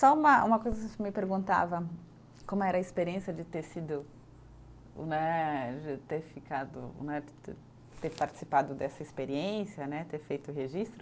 Só uma uma coisa que você me perguntava, como era a experiência de ter sido né, de ter ficado né, te ter participado dessa experiência né, ter feito o registro.